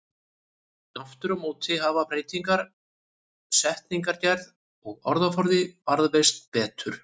Aftur á móti hafa beygingar, setningagerð og orðaforði varðveist betur.